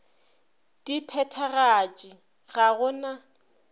di phethagatše ga go na